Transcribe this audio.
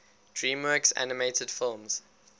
dreamworks animated films